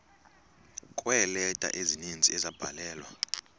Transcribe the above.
kweeleta ezininzi ezabhalelwa